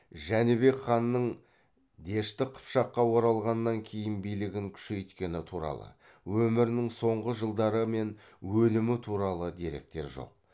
жәнібек ханның дешті қыпшаққа оралғаннан кейін билігін күшейткені туралы өмірінің соңғы жылдары мен өлімі туралы деректер жоқ